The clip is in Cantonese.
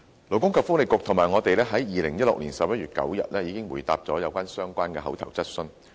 勞工及福利局及我們在2016年11月9日已回答了相關口頭質詢。